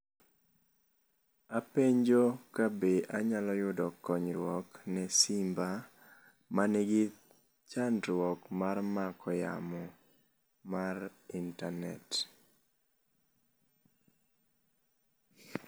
Apenjo ka be anyalo yudo konyruok ne simba ma nigi chandruok mar mako yamo mar internet.